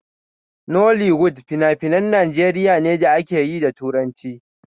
Nollywood finafinan Najeriya ne da akeyi da turanci.